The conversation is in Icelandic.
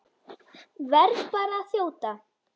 Verð bara að þjóta!